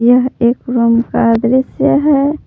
यह एक रूम का दृश्य है।